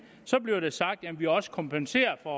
så bliver der sagt jamen vi har også kompenseret for